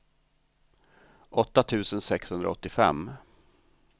åtta tusen sexhundraåttiofem